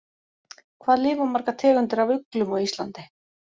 Hvað lifa margar tegundir af uglum á Íslandi?